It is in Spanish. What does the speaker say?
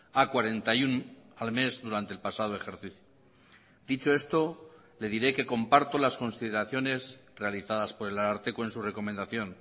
a cuarenta y uno al mes durante el pasado ejercicio dicho esto le diré que comparto las consideraciones realizadas por el ararteko en su recomendación